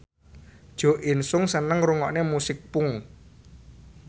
Jo In Sung seneng ngrungokne musik punk